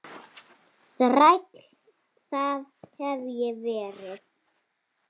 Þræll, það hef ég verið.